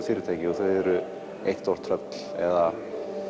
fyrirtæki og þeir eru eitt stórt tröll eða